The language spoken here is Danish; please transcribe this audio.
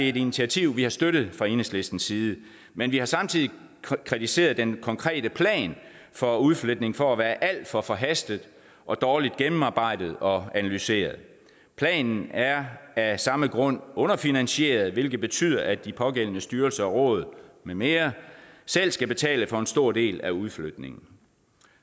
et initiativ vi har støttet fra enhedslistens side men vi har samtidig kritiseret den konkrete plan for udflytning for at være alt for forhastet og dårligt gennemarbejdet og analyseret planen er af samme grund underfinansieret hvilket betyder at de pågældende styrelser og råd med mere selv skal betale for en stor del af udflytningen